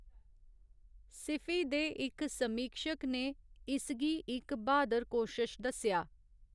सिफी दे इक समीक्षक ने इसगी इक ब्हादर कोशश दस्सेआ।